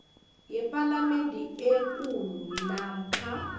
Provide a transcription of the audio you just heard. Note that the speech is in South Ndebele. yepalamende ekulu namkha